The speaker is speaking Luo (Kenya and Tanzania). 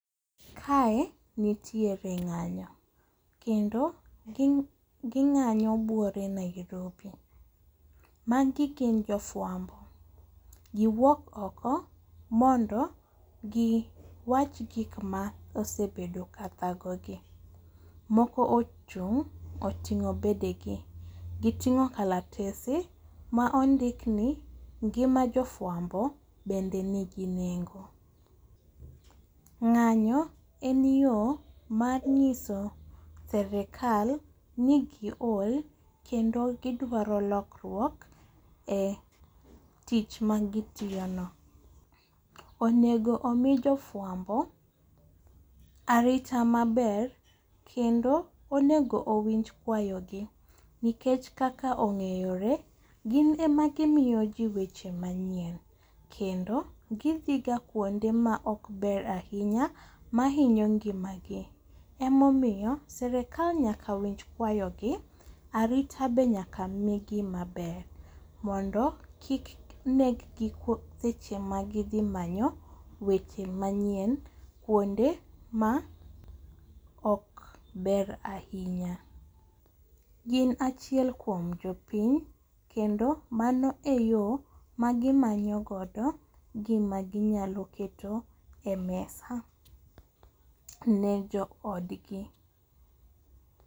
Kae nitiere ng'anyo kendo ging'anyo bwore Nairobi. Magi gin jofwambo, giwuok oko mondo giwach gikma osebedo kathagogi, moko ochung' oting'o bedegi giting'o kalatese ma ondikni ngima jofwambo bende nigi nengo. Ng'anyo en yo mar nyiso serekal ni giol kendo gidwaro lokruok e tich magitiyono. Onego omi jofwambo arita maber kendo onego owinj kwayogi nikech kaka ong'eyore gin ema gimiyoji weche manyien kendo gidhiga kuonde maokber ahinya mahinya ngimagi emomiyo serekal nyaka winj kwayogi arita be nyaka migi maber mondo kik neggi seche magidhimanyo weche manyien kuonde maokber ahinya. Gin achiel kuom jopiny kendo mano e yo magimanyogodo gimaginyalo keto e mesa ne joodgi.